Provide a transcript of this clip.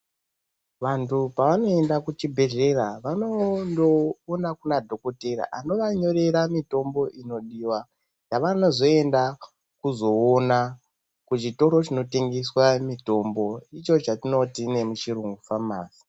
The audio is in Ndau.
Vantu pavanoenda kuchibhehlera, vanondoona kuna dhokotera anovanyorera mitombo inodiwa. Yavanozoenda kuzoona kuchitoro chinotengeswa mitombo, icho chatinoti nemuchiyungu famasi.